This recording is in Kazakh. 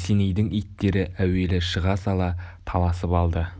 есенейдің иттері әуелі шыға сала таласып алды